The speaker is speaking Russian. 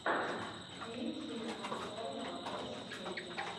фильм киноконцерна мосфильм